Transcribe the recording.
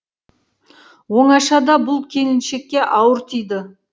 оңашада бұл келіншекке ауыр тиді